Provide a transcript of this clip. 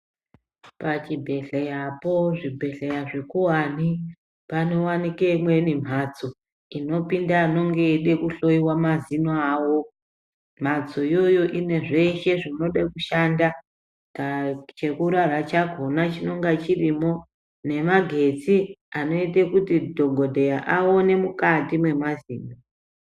Pachibhedhleyapo pazvibhedhleya zvikuvani panovanikwe imweni mhatso inopinda anonga eida kuhoiwa mazino avo. Mhatso iyoyo ine zveshe zvinode kushanda chekurara chakona chinonga chirimo nemagetsi anoita kuti dhogodheya aone mukati mwemazino.